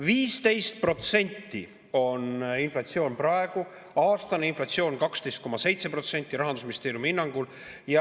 15% on inflatsioon praegu, aastane inflatsioon on 12,7% Rahandusministeeriumi hinnangul.